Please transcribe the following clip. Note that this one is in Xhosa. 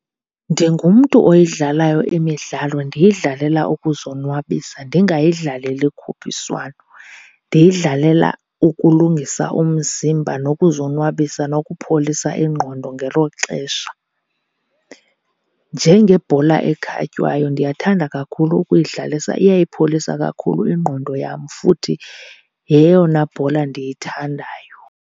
Ndingumntu oyidlalayo imidlalo, ndiyidlalela ukuzonwabisa ndingayidlaleli khuphiswano. Ndiyidlalela ukulungisa umzimba nokuzonwabisa, nokupholisa ingqondo ngelo xesha. Njengebhola ekhatywayo, ndiyathanda kakhulu ukuyidlalisa. Iyayipholisa kakhulu ingqondo yam futhi yeyona bhola ndiyithandayo.